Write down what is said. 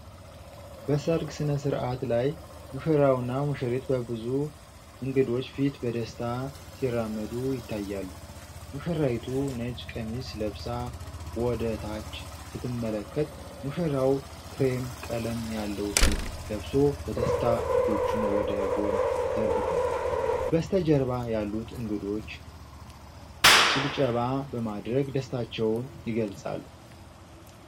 በሠርግ ሥነ-ሥርዓት ላይ፣ ሙሽራውና ሙሽሪት በብዙ እንግዶች ፊት በደስታ ሲራመዱ ይታያሉ። ሙሽራይቱ ነጭ ቀሚስ ለብሳ ወደታች ስትመለከት፣ ሙሽራው ክሬም ቀለም ያለው ሱፍ ለብሶ በደስታ እጆቹን ወደ ጎን ዘርግቷል። በስተጀርባ ያሉት እንግዶች ጭብጨባ በማድረግ ደስታቸውን ይገልጻሉ።